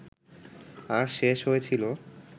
আর শেষ হয়েছিল